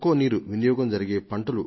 నీరు అధికంగా అవసరమయ్యే పంటలను